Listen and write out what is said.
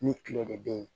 Ni kilo de bɛ yen